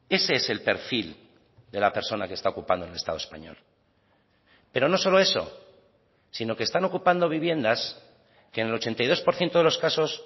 ese es el perfil de la persona que está ocupando en el estado español pero no solo eso sino que están ocupando viviendas que en el ochenta y dos por ciento de los casos